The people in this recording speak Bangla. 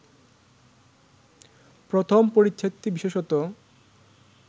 প্রথম পরিচ্ছেদটি বিশেষত